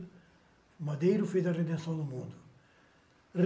O madeiro fez a redenção no mundo.